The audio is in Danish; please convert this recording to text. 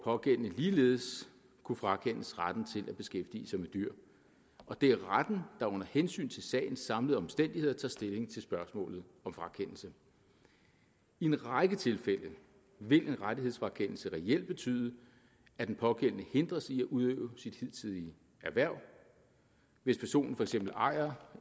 pågældende ligeledes kunne frakendes retten til at beskæftige sig med dyr og det er retten der under hensyn til sagens samlede omstændigheder tager stilling til spørgsmålet om frakendelse i en række tilfælde vil en rettighedsfrakendelse reelt betyde at den pågældende hindres i at udøve sit hidtidige erhverv hvis personen for eksempel ejer